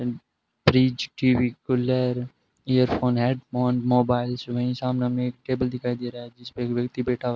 न् fridge TV cooler earphone headphone mobiles वही सामना में एक टेबल दिखाई दे रहा है जिसपे एक व्यक्ति बैठा हुआ --